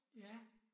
Ja